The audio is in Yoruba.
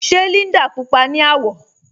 Ṣe Líndà púpọa ni awọ̀?